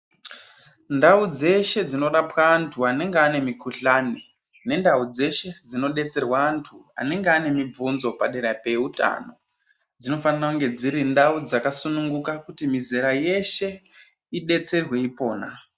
Ndau dzeshe dzinorapwa antu anenge ane mikhuhlane, nendau dzeshe dzinodetserwa antu anenge ane mibvunzo padera peutano, dzinofanire kunge dziri ndau dzakasununguka, kuti mizera yeshe idetserwe ipona.